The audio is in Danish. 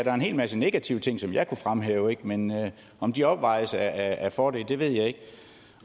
er en hel masse negative ting som jeg kunne fremhæve men om de opvejes af fordele ved jeg ikke